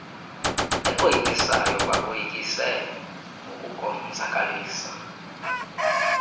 ekoyikisayo bakoyikise ngokukonzakalisa